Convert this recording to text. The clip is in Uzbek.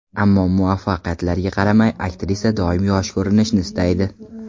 Ammo muvaffaqiyatlarga qaramay, aktrisa doimo yosh ko‘rinishni istaydi.